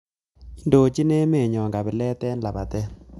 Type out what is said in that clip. Indochin emetnyo kapilat eng lapatet